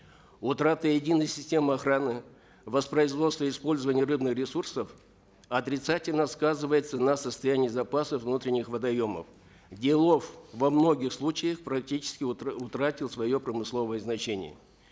утрата единой системы охраны воспроизводства использования рыбных ресурсов отрицательно сказывается на состоянии запасов внутренних водоемов где лов во многих случаях практически утратил свое промысловое значение